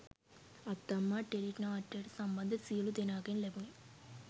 අත්තම්මා tele නාට්‍යයට සම්බන්ධ සියලූම දෙනාගෙන් ලැබුණෙ